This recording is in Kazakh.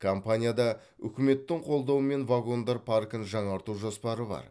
компанияда үкіметтің қолдауымен вагондар паркін жаңарту жоспары бар